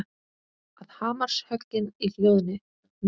Að hamarshöggin hljóðni.